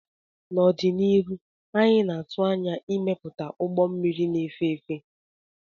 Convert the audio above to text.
n'ọdịnihu anyị na-atụ anya ịmepụta ụgbọ mmiri na-efe efe